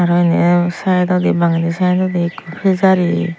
araw inni saaidawdi bangey di saaidawdi ekko pejari.